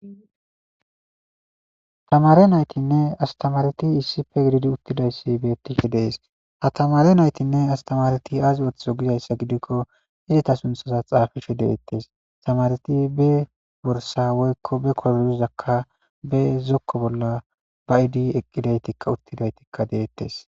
tamare naytinne astamareti issipe gididi uttidayssi beettifhe dees ha tamare naytinne astamareti aazi ooththo gizayssa gidikko hidita sunthoza xaafishe deettes astamareti be borsa woykko be korduzakka be zokko bolla ba idi eqqidaytikka uttidaytikka deettes